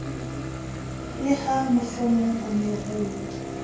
le hamohlomong o ne o